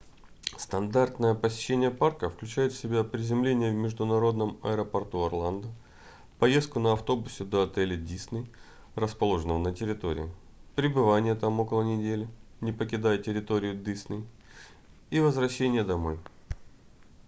стандартное посещение парка включает в себя приземление в международном аэропорту орландо поездку на автобусе до отеля disney расположенного на территории пребывание там около недели не покидая территорию disney и возвращение домой